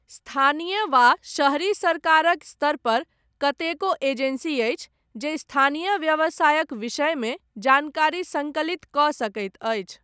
स्थानीय वा शहरी सरकारक स्तरपर, कतेको एजेन्सी अछि, जे स्थानीय व्यवसायक विषयमे, जानकारी सङ्कलितकऽ सकैत अछि।